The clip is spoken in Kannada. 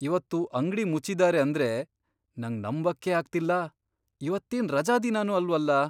ಇವತ್ತು ಅಂಗ್ಡಿ ಮುಚ್ಚಿದಾರೆ ಅಂದ್ರೆ ನಂಗ್ ನಂಬಕ್ಕೇ ಅಗ್ತಿಲ್ಲ! ಇವತ್ತೇನ್ ರಜಾದಿನನೂ ಅಲ್ವಲ್ಲ!